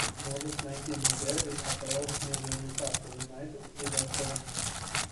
можешь найти мне дерби апл между ньюкасл юнайтед и лестером